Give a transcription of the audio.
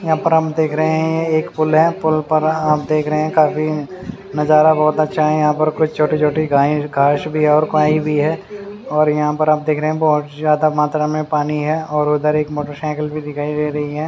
यहाँ पर हम देख रहे है एक पूल है पूल पर हम देख रहे है काफी नज़ारा बहोत अच्छा है यहाँ पर कुछ छोटे छोटे गाय काउस भी है और काई भी है और यहाँ पर आप देख रहे है बहोत ही ज्यादा मात्रा में पानी है और उदर उधर एक मोटरसाइकिल भी दिखाई दे रही है।